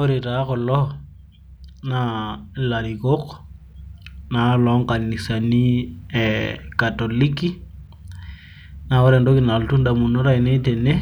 ore taa kulo naa ilarikok naa loonkanisani e katoliki. naa ore entoki napuonu damunot aainei tene,